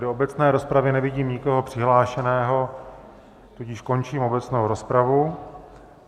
Do obecné rozpravy nevidím nikoho přihlášeného, tudíž končím obecnou rozpravu.